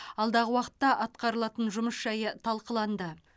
алдағы уақытта атқарылатын жұмыс жайы талқыланды